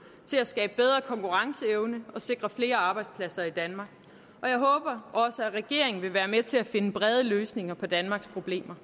til at skabe bedre konkurrenceevne og sikre flere arbejdspladser i danmark og jeg håber at regeringen også vil være med til at finde brede løsninger på danmarks problemer